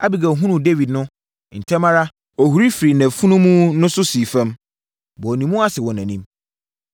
Abigail hunuu Dawid no, ntɛm ara, ɔhuri firii nʼafunumu no so sii fam, bɔɔ ne mu ase wɔ nʼanim.